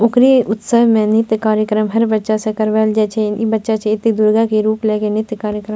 ओकरे उत्सव में नृत्य कार्यक्रम हर बच्चा से करवाएल जाय छै इ बच्चा छै इ ते दुर्गा के रूप लेय के नृत्य कार्यक्रम --